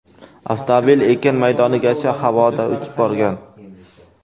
Avtomobil ekin maydonigacha havoda uchib borgan.